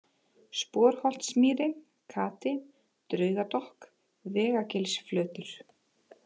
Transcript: Sporholtsmýri, Kati, Draugadokk, Vegagilsflötur